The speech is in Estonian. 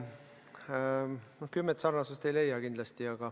No kümmet sarnasust ei leia kindlasti.